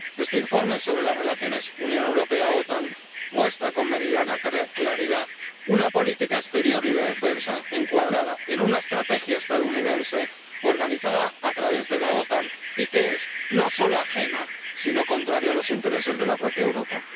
Este informe sobre las relaciones Unión Europea OTAN muestra con meridiana claridad una política exterior y de defensa encuadrada en una estrategia estadounidense organizada a través de la OTAN y que es no solo ajena, sino contraria a los intereses de la propia Europa.